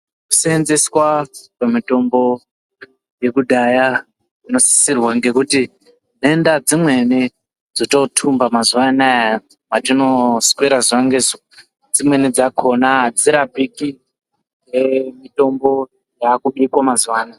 Kusenzeswa kwemutombo yekudhaya kunosisirwa ngekuti denda dzimweni dzototumba mazuanaya kwatinoswera zuwa ngezuwa dzimweni dzakona adzirapiki ngemutombo yakubikwa mazuanaya.